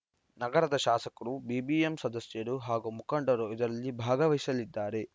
ನಗರದ ಶಾಸಕರು ಬಿಬಿಎಂಪಿ ಸದಸ್ಯರು ಹಾಗೂ ಮುಖಂಡರು ಇದರಲ್ಲಿ ಭಾಗವಹಿಸಲಿದ್ದಾರೆ